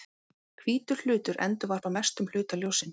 Hvítur hlutur endurvarpar mestum hluta ljóssins.